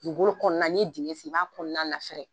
Dugu kolo kɔnɔna ni ye digin sen i b'a kɔnɔna lafɛrɛ